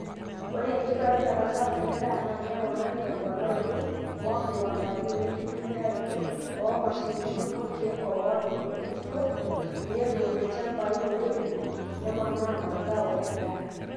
Ore enkitobirata sapuk endaa naa keponari temponaroto oo nkiwandani wenkitumiaroto oo mashinini olkeek oar olkurto pee ebol ilchampai oiremi neponaa mazao endaaa.